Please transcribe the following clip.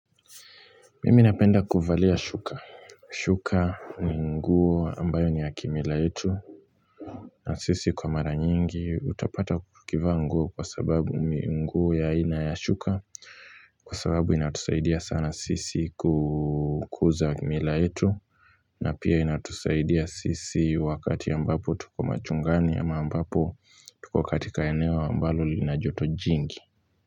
Mimi napenda kuvalia shuka shuka ni nguo ambayo ni ya kimila yetu na sisi kwa mara nyingi utapata kukivaa nguo kwa sababu nguo ya aina ya shuka kwa sababu inatusaidia sana sisi kukuza kimila yetu na pia inatusaidia sisi wakati ambapo tuko machungani ya ambapo tuko wakati katika eneo ambalo lina joto jingi.